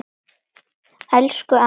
Elsku amma Dúra.